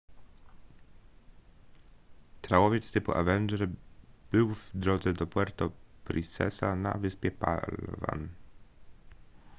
trałowiec typu avenger był w drodze do puerto princesa na wyspie palawan